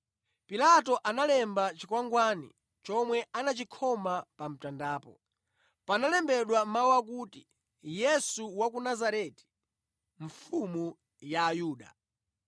Pilato analemba chikwangwani chomwe anachikhoma pa mtandapo. Panalembedwa mawu akuti, yesu wa ku nazareti, mfumu ya ayuda .